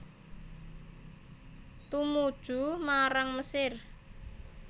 Tumuju marang Mesir